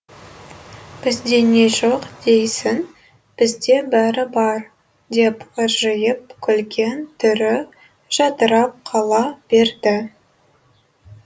бізде не жоқ дейсің бізде бәрі бар деп ыржиып күлген түрі жадырап қала берді